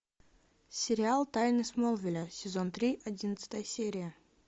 сериал тайны смолвиля сезон три одиннадцатая серия